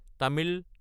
Tamil